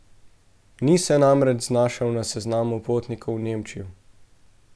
Ni se namreč znašel na seznamu potnikov v Nemčijo.